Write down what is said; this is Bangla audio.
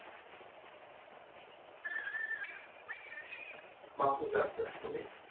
বাহু যাত্রা সুমিত